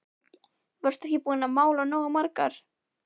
Varstu ekki búin að mála nógu margar?